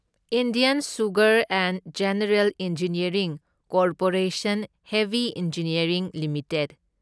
Indian sugar and general engineering corporation heavy engineering limited